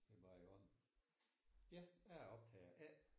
Det er bare i orden. Ja jeg er optager A